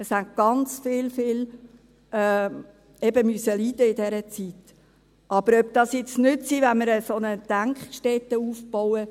Es haben ganz viele eben leiden müssen in dieser Zeit, aber ob das jetzt nützt, wenn wir eine solche Denkstätte aufbauen …